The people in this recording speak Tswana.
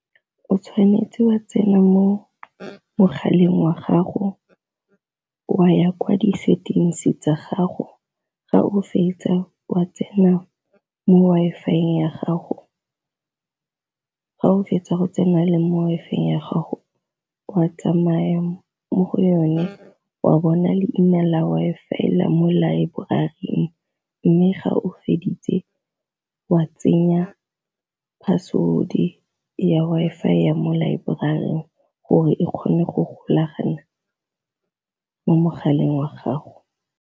O tshwanetse wa tsena mo mogaleng wa gago wa ya kwa di settings tsa gago, ga o fetsa wa tsena mo Wi-Fi ya gago, ga o fetsa go tsena le mo Wi-Fi ya gago wa tsamaya mo go yone wa bona leina la Wi-Fi la mo laeborari, mme ga o feditse wa tsenya password ya Wi-Fi ya mo laeborari gore e kgone go golagana mo mogaleng wa gago.